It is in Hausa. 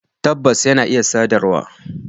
Tabbas, yana iya sadarwa